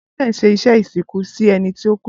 Christain ṣe iṣẹ isinku si ẹni ti o ku